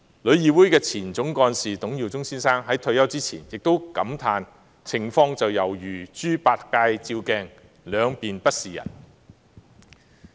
旅議會前總幹事董耀中先生在退休前也感嘆，情況猶如"豬八戒照鏡，兩面不是人"。